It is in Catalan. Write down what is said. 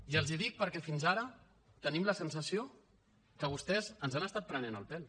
i els hi dic perquè fins ara tenim la sensació que vostès ens han estat prenent el pèl